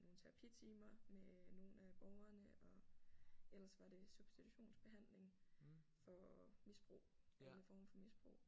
Nogle terapitimer med nogle af borgerne og ellers var det substitutionsbehandling for misbrug alle former for misbrug